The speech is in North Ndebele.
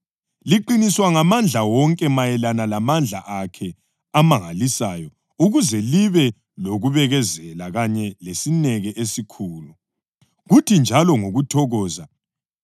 liqiniswa ngamandla wonke mayelana lamandla akhe amangalisayo ukuze libe lokubekezela kanye lesineke esikhulu, kuthi njalo ngokuthokoza